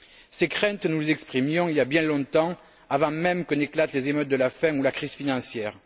Ces craintes, nous les exprimions il y a bien longtemps, avant même que n'éclatent les émeutes de la faim ou la crise financière.